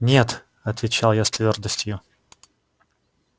нет отвечал я с твёрдостью